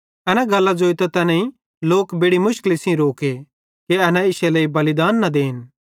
एना गल्लां ज़ोइतां तैनेईं लोक बेड़ि मुशकली सेइं रोके कि एना इश्शे लेइ बलिदान न देन